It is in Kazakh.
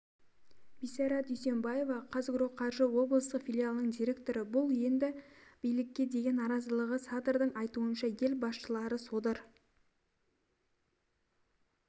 бисара дүйсембаева қазагроқаржы облыстық филиалының директоры бұл енді билікке деген наразылығы садрдың айтуынша ел басшылары содыр